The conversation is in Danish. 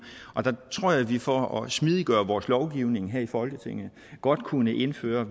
og der tror jeg at vi for at smidiggøre vores lovgivning her i folketinget godt kunne indføre